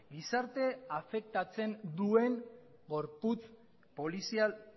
gizarte afektatzen duen gorputz polizial